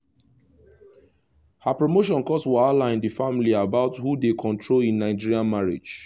her promotion cause wahala in the family about who dey control in nigerian marriage